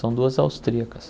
São duas austríacas.